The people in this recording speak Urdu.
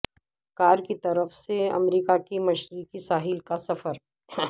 کار کی طرف سے امریکہ کے مشرقی ساحل کا سفر